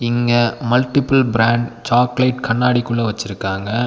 இங்க multiple brand chocolate கண்ணாடிக்குள்ள வச்சிருக்காங்க.